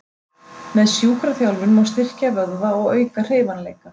Með sjúkraþjálfun má styrkja vöðva og auka hreyfanleika.